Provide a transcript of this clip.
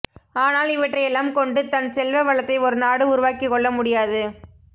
ஆனால் இவற்றையெல்லாம் கொண்டு தன் செல்வ வளத்தை ஒரு நாடு உருவாக்கிக் கொள்ள முடியாது